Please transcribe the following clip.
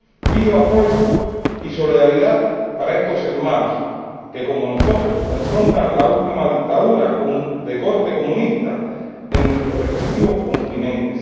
Pido apoyo y solidaridad para estos hermanos, que, como nosotros, afrontan la última dictadura de corte comunista en nuestros respectivos continentes.